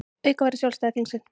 Auka verður sjálfstæði þingsins